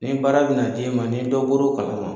Ni baara bɛna d'e ma ni dɔ bɔr'o kalama